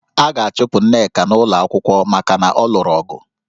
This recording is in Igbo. A ga-achụpụ Nneka n'ụlọ akwụkwọ maka na ọ lụrụ ọgụ